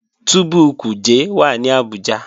Túbú Kuje wà ní Abuja